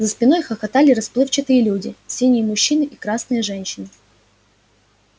за спиной хохотали расплывчатые люди синие мужчины и красные женщины